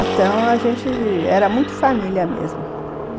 Então a gente era muito família mesmo.